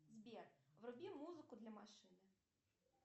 сбер вруби музыку для машины